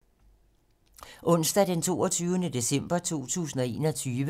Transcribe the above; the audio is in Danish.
Onsdag d. 22. december 2021